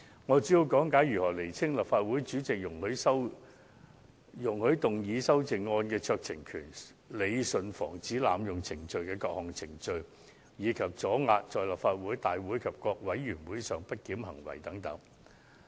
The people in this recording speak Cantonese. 我主要講解一下清楚訂明立法會主席容許動議修正案的酌情權、理順防止濫用程序的各項程序，以及阻遏議員在立法會大會及各委員會上的不檢行為等。